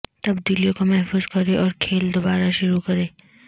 تبدیلیوں کو محفوظ کریں اور کھیل دوبارہ شروع کریں